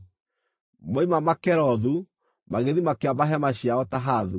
Moima Makelothu magĩthiĩ makĩamba hema ciao Tahathu.